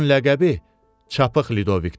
Onun ləqəbi Çapıq Lidovikdir.